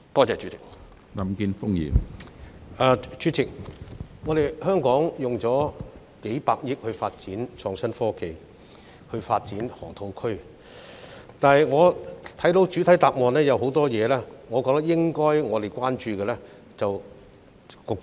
主席，香港動用了數百億元發展河套地區的創科園，但局長未有在主體答覆中回應我的多個關注事項。